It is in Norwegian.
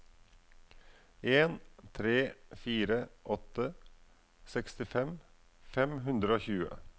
en tre fire åtte sekstifem fem hundre og tjue